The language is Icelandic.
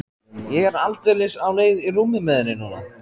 Ég er aldeilis á leið í rúmið með henni núna.